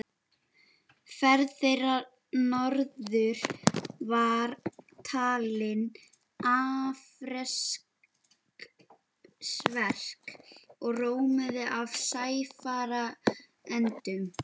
Ferð þeirra norður var talin afreksverk og rómuð af sæfarendum.